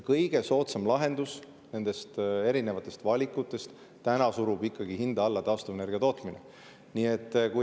Ja nendest erinevatest valikutest kõige soodsam lahendus on ikkagi taastuvenergia tootmine, mis surub hinda alla.